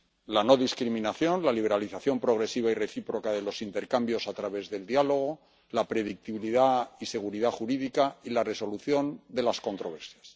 La no discriminación, la liberalización progresiva y recíproca de los intercambios a través del diálogo, la predictibilidad y seguridad jurídica y la resolución de las controversias.